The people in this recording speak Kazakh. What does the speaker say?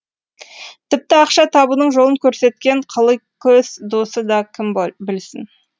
тіпті ақша табудың жолын көрсеткен қыликөз досы да кім білсін